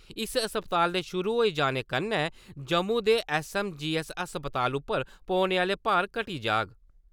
इस अस्पताल दे शुरू होई जाने कन्नै जम्मू दे ऐस्स.ऐम्म.जी.ऐस्स. अस्पताल उप्पर पौने आह्ले भार घट्टी जाह्ग ।